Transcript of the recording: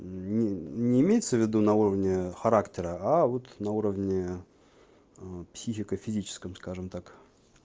мм не имеется в виду на уровни характера а вот на уровне психико-физическом скажем так